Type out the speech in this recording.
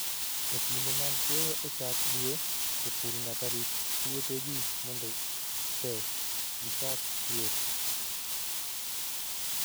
E kinde mag keyo e chak dwe, jopur nyaka rit puothegi mondo pe gichak chwer.